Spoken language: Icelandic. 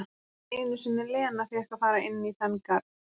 Ekki einu sinni Lena fékk að fara inn í þann garð.